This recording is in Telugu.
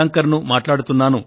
నా పేరు ఎల్లప్ప వెలాంకర్